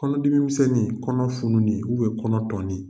Kɔnɔdimimisɛnnin, kɔnɔ fununi kɔnɔ tɔnin.